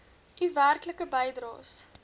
u werklike bydraes